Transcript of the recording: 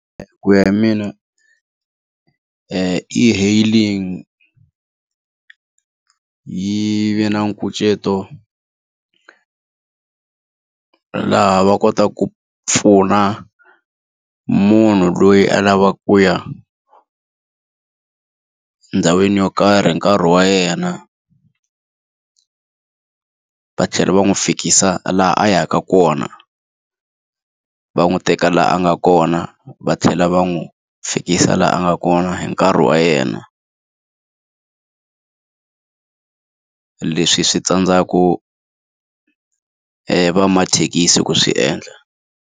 Ku ya hi mina e-hailing yi ve na nkucetelo laha va kotaka ku pfuna munhu loyi a lavaka ku ya ndhawini yo karhi hi nkarhi wa yena va tlhela va n'wi fikisa laha a yaka kona. Va n'wi teka laha a nga kona va tlhela lava n'wi fikisa laha a nga kona hi nkarhi wa yena. Leswi swi tsandzaku va mathekisi ku swi endla.